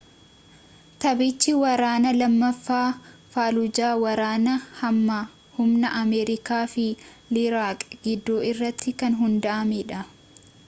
taphichi waraana lammaffaa faalujaa ,waraana hamaa humna amerikaa fi iiraaq gidduu irratti kan hundaa’edha